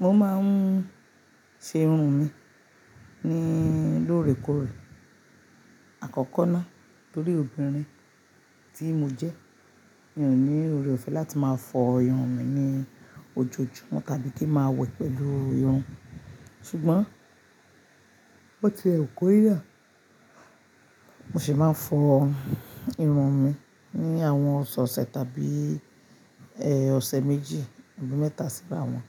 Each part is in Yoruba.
Mo máa ń ṣe irun mi ní lóòrèkóòrè. Àkọ́kọ́ ná, torí obìnrin tí mo jẹ́ mi ò ní oore ọ̀fẹ́ láti máa fọ irun mi ní ojoojúmọ́ tàbí kí ń máa wẹ̀ pẹ̀lú irun. Ṣùgbọ́n bo ti ẹ wu kó yà, mo sì máa ń fọ irun mi ní àwọn ọ̀sẹ̀ ọ̀sẹ̀ tàbí, ẹ́, ọ̀sẹ̀ méjì, àbí mẹ́ta sí báwọ̀n.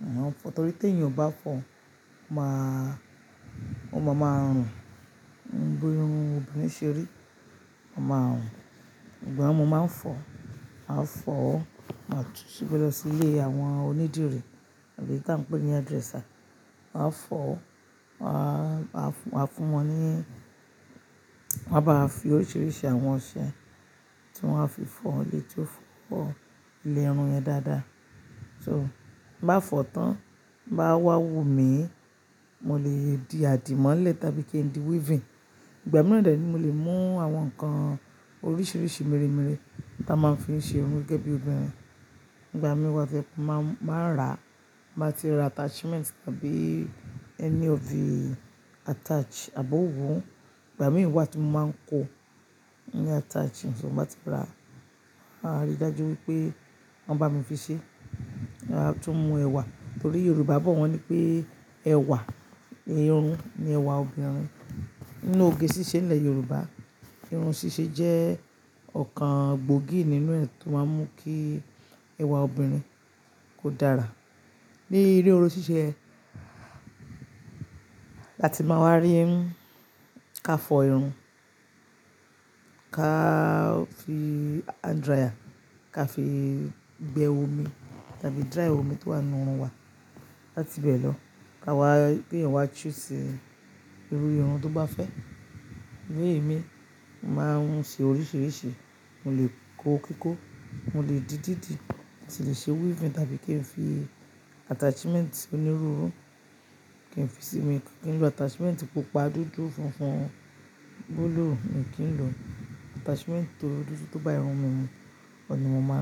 Máa ń fọ torí tí èèyàn o bá fọ, ó máa, ó máa máa rùn. Bi irun obìnrin ṣe rí, ó máa rùn. Ìgbà wo máa ń fọ? Màá fọ máa tún ti gbelọ̀ sí ilé àwọn onídìrí tàbí tí à ń pè ní hairdresser. Wàá fọ, wà á, wà á fún wọn ní, wọ́n á bá fi oríṣiríṣi àwọn ọṣẹ tí wọ́n á fi fọ ọ létí ó fọ ilé irun yẹn dáadáa. So bá fọ tán bá wá wù mí, mo lè di àdìmọ́lẹ̀ tàbí kí n di weaving. Ìgbà mìíràn dẹ ni mo lè mú àwọn nǹkan oríṣiríṣi, mèremère tí a máa ń fi ń ṣe irun gẹ́gẹ́ bí obìnrin. Ìgbà mìí wa to jẹ pe máa, máa rà, máa ti ra attachment tàbí any of attach àbọ̀wọ̀. Ìgbà mì wa ti mo máa ń kó ní attach, so bọ́n bá ti rà, a rí i dájú wípé wọ́n bá mi fi ṣe. A tún mú ẹ̀wà torí Yorùbá bọ̀ wọ́n ní pé ẹ̀wà irun ni ẹ̀wà obìnrin. Nínú oge ṣíṣe nílẹ̀ Yorùbá, irun ṣíṣe jẹ́ ọ̀kan gbòógì nínú ẹ̀ tó máa ń mú kí ẹwà obìnrin kó dára. Ni inú irun ṣiṣe yẹn, láti máa wá rí ń ká fọ irun, ká fi hand dryer, ká fi gbẹ omi tàbí dry omi tó wà nínú irun wa láti bẹ̀ lọ. Ka wá kí eyan wá choose irú irun tó bá fẹ́. Bí i mi, màá ń ṣe oríṣiríṣi. Mo lè kó kíkó, mo lè di dídi, mo sì lè ṣe weaving tàbí kí n fi attachment oniru iru, kí n fi sí mi. Kí n lo attachment pupa, dúdú, funfun, búlúù mi kí n lo? Attachment tó dúdú tó bá irun mi mu oun ni mo máa lò.